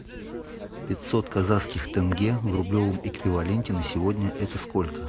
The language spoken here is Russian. пятьсот казахских тенге в рублевом эквиваленте на сегодня это сколько